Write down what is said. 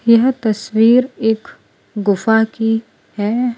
यह तस्वीर एक गुफा की है।